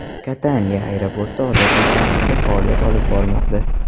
Kataniya aeroporti odatiy tartibda faoliyat olib bormoqda.